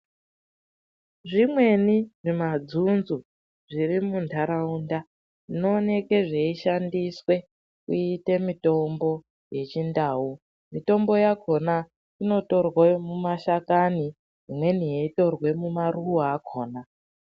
Zvimweni zvemadzunzu zviri munharaunda zvinooneke zveishandiswa kuitwe mitombo yechindau. Mitombo yakhona inotorwa mumashakani, imweni yeitorwa mumaruwa akhona.